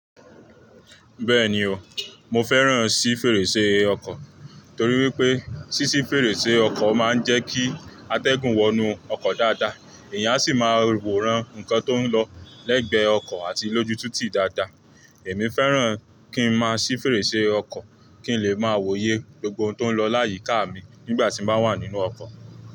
Bẹ́ẹ̀ni o, mo fẹ́ràn sí fèrèsé ọkọ̀ torí wípé, ṣíṣí fèrèsé ọkọ̀ máa ń jẹ́ kí atẹ́gùn wọ inú ọkọ̀ dáadáa, èyàn sì máa rò wòran nǹkan tó ń lọ lẹ́gbẹ́ ọkọ̀ àti lójú titi dáadáa. Èmi fẹ́ràn kí n máa ṣí fèrèsé ọkọ̀, kí n lè máa wòye gbogbo ohun tó ń lọ láyìíká mi nígbà tí mo ba wà nínú ọkọ̀.